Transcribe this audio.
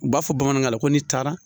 U b'a fɔ bamanankan na ko n'i taara